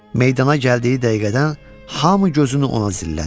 Meydana gəldiyi dəqiqədən hamı gözünü ona zillədi.